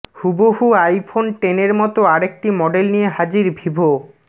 হুবহু আইফোন টেনের মত আরেকটি মডেল নিয়ে হাজির ভিভো